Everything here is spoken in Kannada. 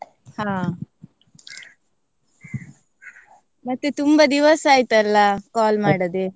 ಮತ್ತೆ ತುಂಬಾ ದಿವಸ ಆಯ್ತಲ್ಲ call ಮಾಡದೆ?